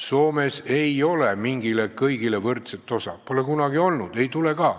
Soomes ei ole mingit kõigile võrdset osa, pole kunagi olnud ja ei tule ka.